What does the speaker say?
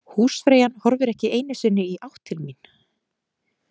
Húsfreyjan horfir ekki einu sinni í átt til mín.